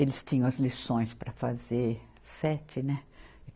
Eles tinham as lições para fazer, sete, né?